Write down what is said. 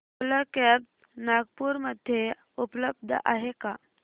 ओला cabs Nagpur मध्ये उपलब्ध आहे का